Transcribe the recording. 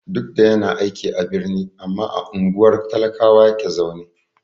Duk da yana aiki a birni, amma a unguwar talakawa yake zaune.